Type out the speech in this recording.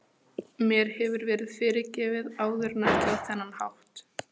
Mér hefur verið fyrirgefið áður en ekki á þennan hátt.